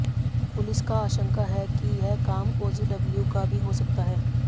police का आशंका है कि यह काम ओजीडब्ल्यू का भी हो सकता है